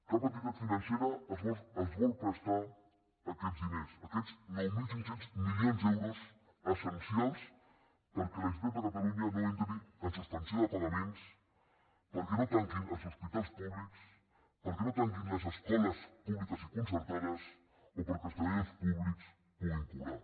cap entitat financera els vol prestar aquests diners aquests nou mil cinc cents milions d’euros essencials perquè la generalitat de catalunya no entri en suspensió de pagaments perquè no tanquin els hospitals públics perquè no tanquin les escoles públiques i concertades o perquè els treballadors públics puguin cobrar